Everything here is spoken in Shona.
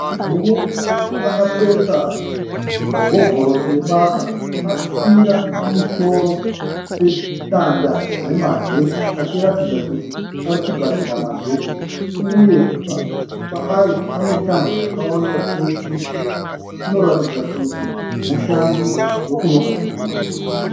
Murume akapfeka hovhorosi yebasa. Akakwira pamusoro pedanda remagetsi achiratidza kuti ari kugadzira magetisi uye paari pane tambo dzakawanda chose. Anoratidza kuti mushandi wekunogadzirwa magetsi.